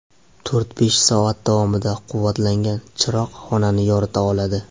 To‘rt-besh soat davomida quvvatlangan chiroq xonani yorita oladi.